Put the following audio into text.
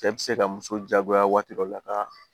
Cɛ bɛ se ka muso jagoya waati dɔ la ka